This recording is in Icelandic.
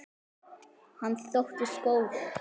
Hann þóttist góður.